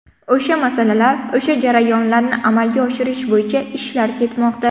O‘sha masalalar, o‘sha jarayonlarni amalga oshirish bo‘yicha ishlar ketmoqda.